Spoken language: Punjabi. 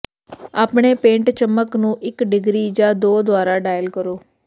ਆਪਣੇ ਪੇਂਟ ਚਮਕ ਨੂੰ ਇੱਕ ਡਿਗਰੀ ਜਾਂ ਦੋ ਦੁਆਰਾ ਡਾਇਲ ਕਰੋ